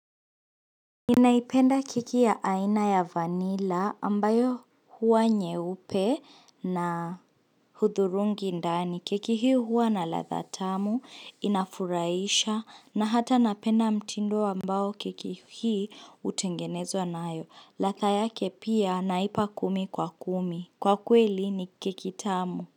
Ninaipenda keki ya aina ya vanila ambayo huwa nyeupe na udhurungi ndani. Keki hii huwa na latha tamu, inafuraisha na hata napenda mtindo ambao keki hii utengenezwa nayo. Latha yake pia naipa kumi kwa kumi. Kwa kweli ni keki tamu.